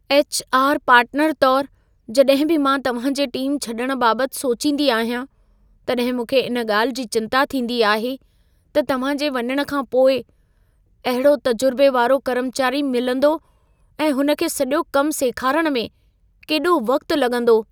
HR. Partner तोर, जॾहिं बि मां तव्हां जे टीम छॾण बाबति सोचींदी आहियां, तॾहिं मूंखे इन ॻाल्हि जी चिंता थींदी आहे त तव्हां जे वञणु खां पोइ अहिड़ो तजुर्बे वारो कर्मचारी मिलंदो ऐं हुन खे सॼो कम सेखारण में केॾो वक़्त लॻंदो।